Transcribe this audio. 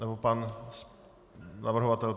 Nebo pan navrhovatel.